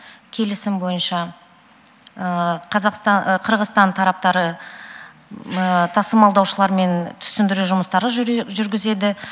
келісім бойынша қырғызстан тараптары тасымалдаушылармен түсіндіру жұмыстары жүргізеді